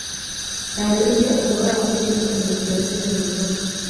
Taarĩria ũhoro wa kĩririkano kĩa tene mũno.